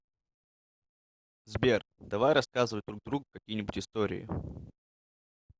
сбер давай рассказывать друг другу какие нибудь истории